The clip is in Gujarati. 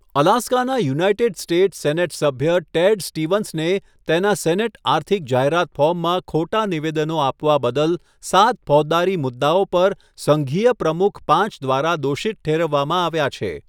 અલાસ્કાના યુનાઇટેડ સ્ટેટ્સ સેનેટ સભ્ય ટેડ સ્ટીવન્સને તેના સેનેટ આર્થિક જાહેરાત ફોર્મમાં ખોટા નિવેદનો આપવા બદલ સાત ફોજદારી મુદ્દાઓ પર સંઘીય પ્રમુખ પાંચ દ્વારા દોષિત ઠેરવવામાં આવ્યા છે.